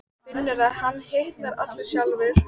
Finnur að hann hitnar allur sjálfur.